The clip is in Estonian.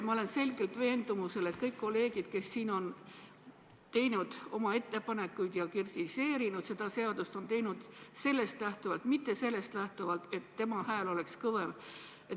Ma olen selgelt veendumusel, et kõik kolleegid, kes siin on teinud oma ettepanekuid ja kritiseerinud seda seadust, on teinud seda sellest lähtuvalt, mitte lähtuvalt soovist, et nende hääl oleks kõvem.